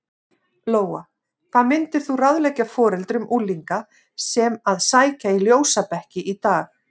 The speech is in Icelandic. Lóa: Hvað myndir þú ráðleggja foreldrum unglinga sem að sækja í ljósabekki í dag?